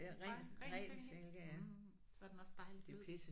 Bare ren silke. Mh så er den også dejlig blød